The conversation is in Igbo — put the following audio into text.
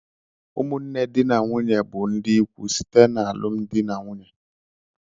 Ụmụnne di na nwunye bụ ndị ikwu site n'alụmdi na nwunye.